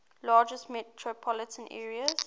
largest metropolitan areas